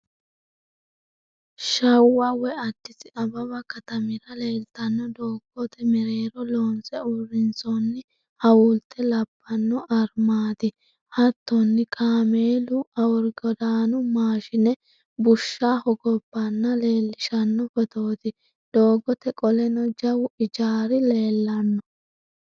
Shawwa woy addisi ababu katamira leeltanno doogotemereero loonse uurrinsoonni hawaulte labbanno armaati. Hattonni kaameella aworgodaanu maashine bushsha hogobbanna leellishshanno footooti. doogote qoleno jawu ijaari leellanno.